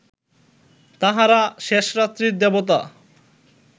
তাঁহারা শেষরাত্রির দেবতা